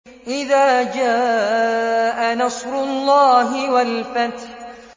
إِذَا جَاءَ نَصْرُ اللَّهِ وَالْفَتْحُ